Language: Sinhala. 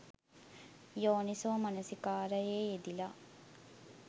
යෝනිසෝ මනසිකාරයේ යෙදිලා